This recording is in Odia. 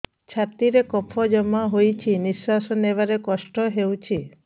ଛାତିରେ କଫ ଜମା ହୋଇଛି ନିଶ୍ୱାସ ନେବାରେ କଷ୍ଟ ହେଉଛି